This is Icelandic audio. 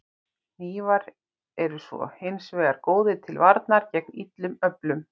Hnífar eru svo hins vegar góðir til varnar gegn illum öflum.